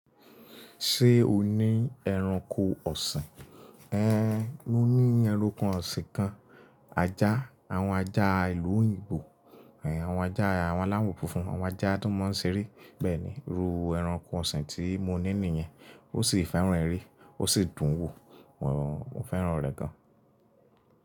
Ṣé o ní ẹranko ọ̀sìn? Én, mo ní ẹranko ọ̀sìn kan. Ajá, àwọn ajá ìlú òyìnbó, àwọn ajá aláwo funfun, àwọn ajá tó mọ́ ń ṣeré. Bẹ́ẹ̀ ni, irú ẹranko ọ̀sìn tí mo ní nìyẹn. Ó sì fẹ́ràn eré, ó sì dùn ún wò. Mo fẹ́ràn rẹ̀ gan.